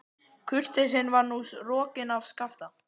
Kurteisin var nú rokin af Skapta.